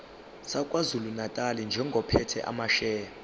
sakwazulunatali njengophethe amasheya